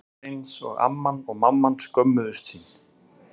Það var eins og amman og mamman skömmuðust sín.